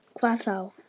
Hvað þá!